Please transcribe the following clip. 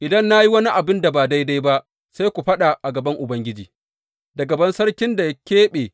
Idan na yi wani abin da ba daidai ba sai ku faɗa a gaban Ubangiji, da gaban sarkin da ya keɓe.